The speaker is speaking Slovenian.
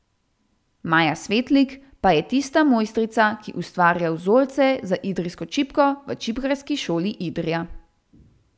Maja Svetlik pa je tista mojstrica, ki ustvarja vzorce za idrijsko čipko v Čipkarski šoli Idrija.